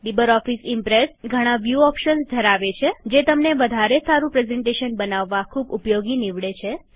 LibreOffice Impress ઘણા view options ધરાવે છે જે તમને વધારે સારું પ્રેઝન્ટેશન બનાવવ ખુબ ઉપયોગી નીવડે છે